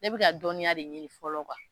Ne bɛ ka dɔnniya de ɲini fɔlɔ kuwa